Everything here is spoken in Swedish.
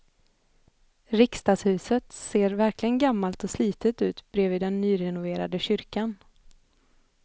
Riksdagshuset ser verkligen gammalt och slitet ut bredvid den nyrenoverade kyrkan.